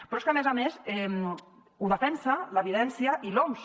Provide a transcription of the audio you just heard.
però és que a més a més ho defensen l’evidència i l’oms